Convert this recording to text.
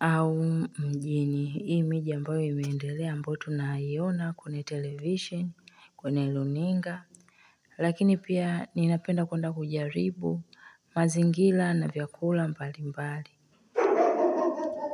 au mjini, hii miji ambayo imeendelea ambayo tunaiona kwenye television, kwenye luninga lakini pia ninapenda kwenda kujaribu mazingira na vyakula mbalimbali.